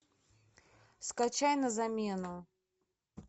скачай на замену